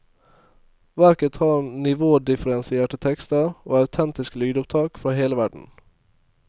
Verket har nivådifferensierte tekster og autentiske lydopptak fra hele verden.